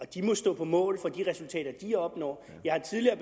de må stå på mål for de resultater de opnår jeg har tidligere